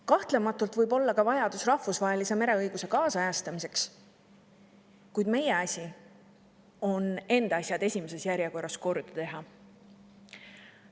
Kahtlemata võib olla ka vajadus rahvusvahelise mereõiguse ajakohastamiseks, kuid meie asi on enda asjad esimeses järjekorras korda teha.